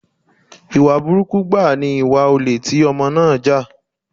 Ìwà burúkú gbáà ni ìwà olè tí Ọmọ náà jà.